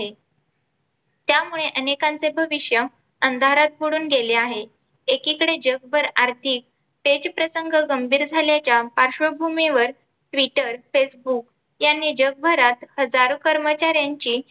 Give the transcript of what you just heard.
त्यामुळे अनेकांचे भविष्य अंधारात बुडून गेले आहे. एकीकडे जगभर आर्थिक पेच प्रसंग गंभीर झाल्याच्या पार्श्वभूमीवर Twitter, Facebook याने जगभरात हजारो कर्मचाऱ्यांची